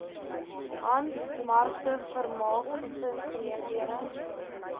handwerkmarkte vermaak gesinsaangeleenthede